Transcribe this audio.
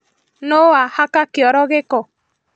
Nũ wahaka kĩoro gĩko?